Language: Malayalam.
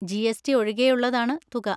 ജി.എസ്.ടി. ഒഴികെയുള്ളതാണ് തുക.